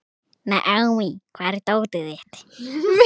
Naomí, hvar er dótið mitt?